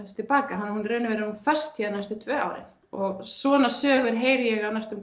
tilbaka í raun og veru er hún föst hérna næstu tvö árin og svona sögur heyri ég á næstum